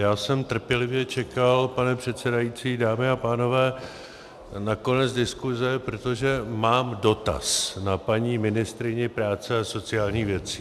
Já jsem trpělivě čekal, pane předsedající, dámy a pánové, na konec diskuse, protože mám dotaz na paní ministryni práce a sociálních věcí.